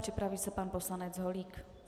Připraví se pan poslanec Holík.